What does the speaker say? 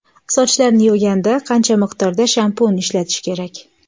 Sochlarni yuvganda qancha miqdorda shampun ishlatish kerak?